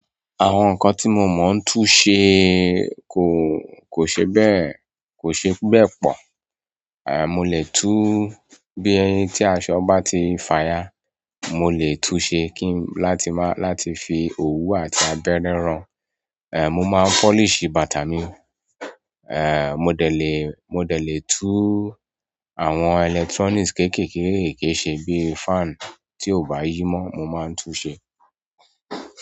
Àwọn nǹkan tí mo mọ̀ ń tún ṣe kò, kò ṣe bẹ́ẹ̀, kò ṣe bẹ́ẹ̀ pọ̀. A mo lè tú bíi tí aṣọ bá ti fàyà, mo lè tún ṣe kí n láti má, láti fi òwú àti abẹ́rẹ́ ràn. È mo máa polish bàtà mi. Ẹ mo dẹ̀ lè mo dẹ̀ lè tùú àwọn electronics kéékèèké kéèké ṣe bí i fan tí ò bá yí mọ́, mo máa ń tún ṣe.